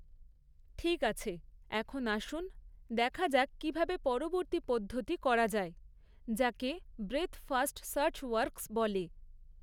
ঠিক আছে, এখন আসুন দেখা যাক কীভাবে পরবর্তী পদ্ধতি করা যায়, যাকে ব্রেথ ফার্স্ট সার্চ ওয়ার্কস বলে।